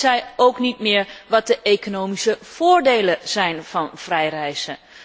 Zien zij ook niet meer wat de economische voordelen zijn van vrij reizen?